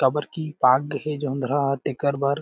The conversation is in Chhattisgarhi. काबर की पाग गे हे जोंधरा ह तेकर बर--